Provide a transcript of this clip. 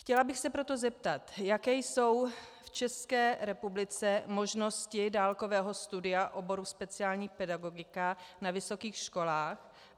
Chtěla bych se proto zeptat: Jaké jsou v České republice možnosti dálkového studia oboru speciální pedagogika na vysokých školách?